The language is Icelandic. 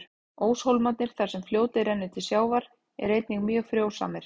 Óshólmarnir, þar sem fljótið rennur til sjávar, eru einnig mjög frjósamir.